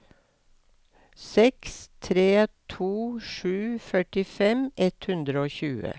seks tre to sju førtifem ett hundre og tjue